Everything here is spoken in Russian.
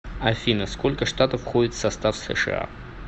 афина сколько штатов входят в состав сша